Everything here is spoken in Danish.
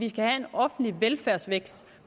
offentlig velfærdsvækst